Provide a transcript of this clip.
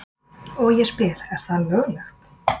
Og ég spyr er það löglegt?